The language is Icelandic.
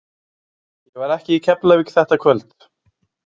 Ég var ekki í Keflavík þetta kvöld!